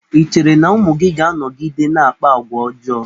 I cheere na ụmụ gị ga-anọgide na-akpa agwa ọjọọ?